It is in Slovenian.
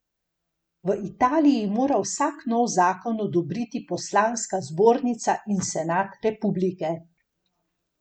V Italiji mora vsak nov zakon odobriti poslanska zbornica in Senat Republike.